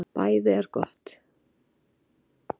BÆÐI ER GOTT